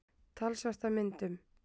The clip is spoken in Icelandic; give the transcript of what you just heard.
Talsvert af myndum.